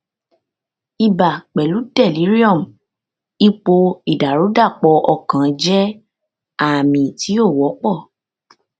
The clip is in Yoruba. ibà pẹlú delirium ipò ìdàrúdàpọ ọkàn jẹ àmì tí ó wọpọ